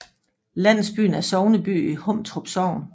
Landsbyen er sogneby i Humtrup Sogn